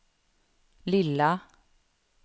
lilla